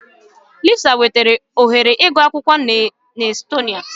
Lisa nwetara ohere ịgụ akwụkwọ na Estonia.